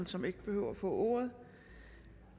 som ikke behøver at få ordet